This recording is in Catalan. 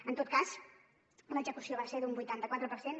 en tot cas l’execució va ser d’un vuitanta·quatre per cent